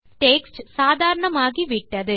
text சாதாரணமாகி விட்டது